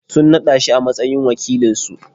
Sun naɗa shi a matsayin wakilinsu.